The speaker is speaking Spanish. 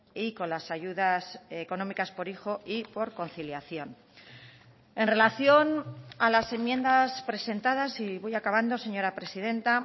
y con las ayudas económicas por hijo y por conciliación en relación a las enmiendas presentadas y voy acabando señora presidenta